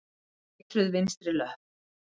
Eitruð vinstri löpp.